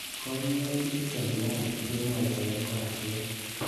Koimutichuton tuwan kemwoitoen koratet.